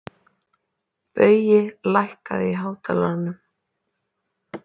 Baui, lækkaðu í hátalaranum.